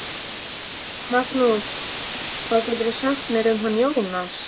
Magnús: Hvað geturðu sagt mér um hann Jónsa?